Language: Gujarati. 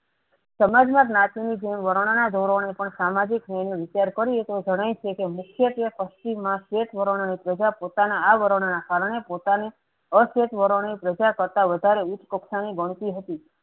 સમાજમાં જ્ઞાતિની જેમ વાર્ના ધોરણે પણ સામાજિક નિર્ણયે વિચાર કર્યો જણાય છેકે મુખ્યત્વે પશ્ચિમમાં સ્વેત વર્ણોની પ્રજા પોતાના આવરણો ના કારણે પોતાની અસ્વેત વર્ણો પ્રજા કરતા વધારે ઉચ્ચ કક્ષાની ગણતી હતી